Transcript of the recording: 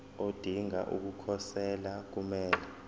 odinga ukukhosela kumele